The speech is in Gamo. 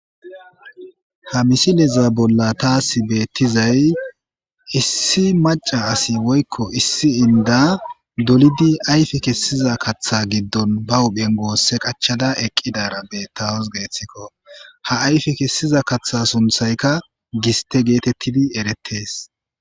Ha misileza bolla taasi beettizay issi maca asi woyiko issi inda dolidi ayfi kessiza katha giddon ba huphen goosse qachada eqqidara bettawos geeththikko ha ayfi kessiza kaththa sunthayka giste geetettidi erettees